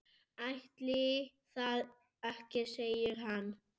kerra, plógur, hestur.